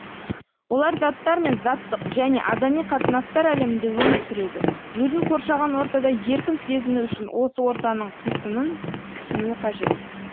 олар заттар мен заттық және адами қатынастар әлемінде өмір сүреді өзін қоршаған ортада еркін сезіну үшін осы ортаның қисынын түсінуі қажет